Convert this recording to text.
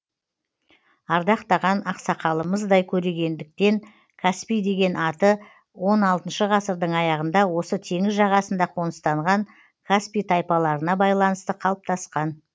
ардақтаған ақсақалымыздай көргендіктен каспий деген аты он алтыншы ғасырдың аяғында осы теңіз жағасында қоныстанған каспи тайпаларына байланысты қалыптасқан